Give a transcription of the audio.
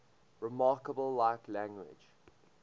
remarkably like language